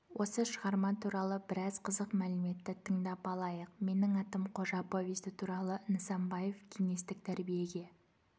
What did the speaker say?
осы шығарма туралы біраз қызық мәліметті тыңдап алайық менің атым қожа повесті туралы нысанбаев кеңестік тәрбиеге